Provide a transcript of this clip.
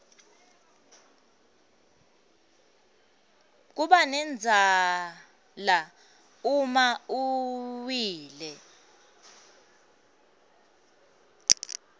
kubanendzala uma uwile